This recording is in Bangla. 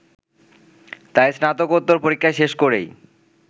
তাই স্নাতকোত্তর পরীক্ষা শেষ করেই